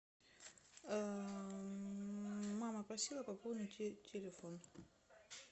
мама просила пополнить ей телефон